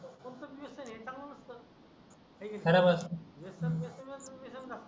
आहे की नाही बराबर वेसण वेसण लागतो